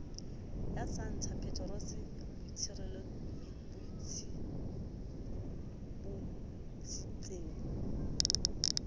ya santa peterose e bontshitseng